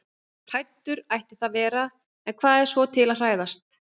Hræddur ætti það að vera- en hvað er svo til að hræðast?